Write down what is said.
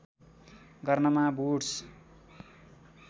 गर्नमा वुड्स